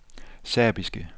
serbiske